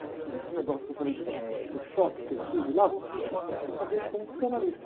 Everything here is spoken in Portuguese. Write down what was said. coisas. Por exemplo, esse negócio que eu falei do choque que eu tive lá, isso eu contei para um psicanalista.